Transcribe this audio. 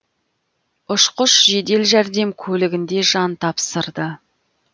ұшқыш жедел жәрдем көлігінде жан тапсырды